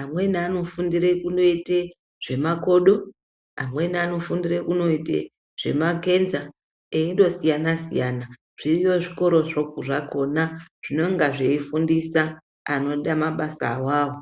amweni ano fundire kundoite zvema kodo amweni anofundire kundoite zvema kenza eindo siyana siyana zviriyo zvikorozvo zvakona zvinonga zvei fundisa anoda mabasa awawo.